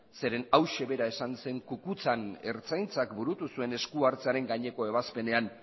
zeren eta hau bera esan zen kukutzan ertzaintzak burutu zuen esku hartzearen gaineko ebazpenean